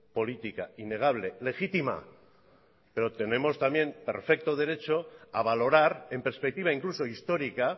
política innegable legítima pero tenemos también perfecto derecho a valorar en perspectiva incluso histórica